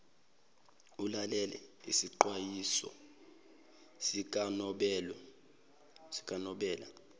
ulalele isixwayiso sikanobela